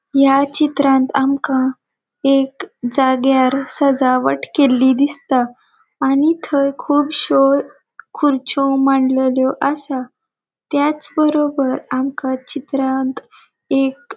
या चित्रांत आमका एक जाग्यार सजावट केल्ली दिसता आणि थंय कूबश्यो खुरच्यो मांडलेल्यो असा त्याच बरोबर आमका चित्रांत एक --